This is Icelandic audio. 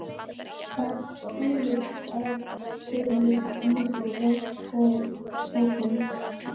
Þar skilur ef til vill milli feigs og ófeigs.